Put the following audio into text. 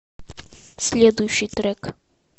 следующий трек